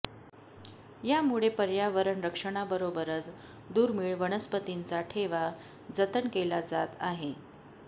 यामुळे पर्यावरण रक्षणाबरोबरच दुर्मीळ वनस्पतींचा ठेवा जतन केला जात आहे